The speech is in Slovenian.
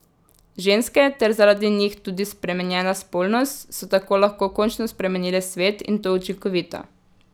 Ženske, ter zaradi njih tudi spremenjena spolnost, so tako lahko končno spremenile svet, in to učinkovito.